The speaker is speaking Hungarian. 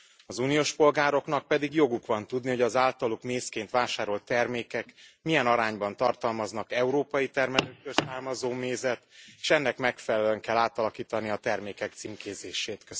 Az uniós polgároknak pedig joguk van tudni, hogy az általuk mézként vásárolt termékek milyen arányban tartalmaznak európai termelőktől származó mézet, s ennek megfelelően kell átalakítani a termékek címkézését.